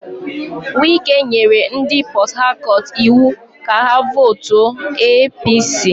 Wike nyere ndị Port Harcourt iwu ka ha vootuo APC.